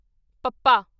ਪੱਪਾ